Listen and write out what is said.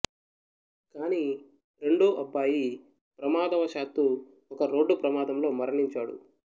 కానీ రెండో అబ్బాయి ప్రమాదవశాత్తూ ఒక రోడ్డు ప్రమాదంలో మరణించాడు